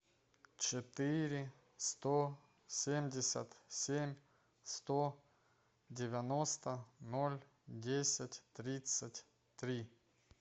четыре сто семьдесят семь сто девяносто ноль десять тридцать три